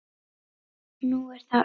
Nú er það Örið.